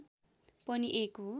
पनि एक हो